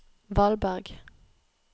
Valberg